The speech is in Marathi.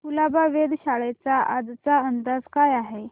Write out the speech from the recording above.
कुलाबा वेधशाळेचा आजचा अंदाज काय आहे